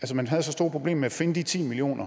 man havde så store problemer med at finde de ti million